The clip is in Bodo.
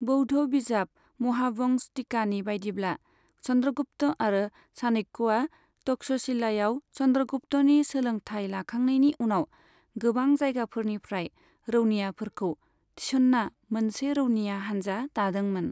बौद्ध बिजाब महावंश टिकानि बायदिब्ला, चन्द्रगुप्त आरो चाणक्यया तक्ष'शिलायाव चन्द्रगुप्तनि सोलोंथाय लाखांनायनि उनाव गोबां जायगाफोरनिफ्राय रौनियाफोरखौ थिसन्ना मोनसे रौनिया हानजा दादोंमोन।